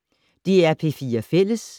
DR P4 Fælles